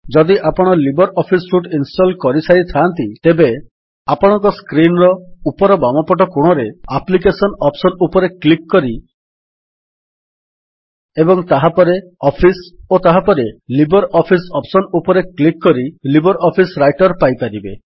ଯଦି ଆପଣ Libre Office suite install କରିସାରିଥାନ୍ତି ତେବେ ଆପଣଙ୍କ ସ୍କ୍ରୀନ୍ ର ଉପର ବାମପଟ କୋଣରେ ଆପ୍ଲିକେଶନ୍ ଅପ୍ସନ୍ ଉପରେ କ୍ଲିକ୍ କରି ଏବଂ ତାହାପରେ ଅଫିସ୍ ଓ ତାହାପରେ ଲିବର୍ ଅଫିସ୍ ଅପ୍ସନ୍ ଉପରେ କ୍ଲିକ୍ କରି ଲିବର୍ ଅଫିସ୍ ରାଇଟର୍ ପାଇପାରିବେ